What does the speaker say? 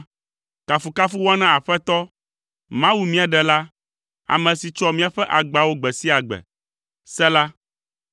Kafukafu woana Aƒetɔ, Mawu míaƒe Ɖela, ame si tsɔa míaƒe agbawo gbe sia gbe. Sela